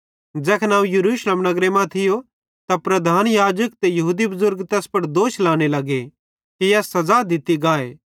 ज़ैखन अवं यरूशलेम नगरे मां थियो त प्रधान याजक ते यहूदी बुज़ुर्ग तैस पुड़ दोष लगे लाने कि एस सज़ा दित्ती गाए